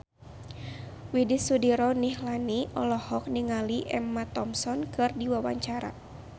Widy Soediro Nichlany olohok ningali Emma Thompson keur diwawancara